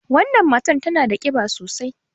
Wannan matar tana da ƙiba sosai.